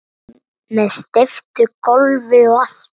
Með steyptu gólfi og allt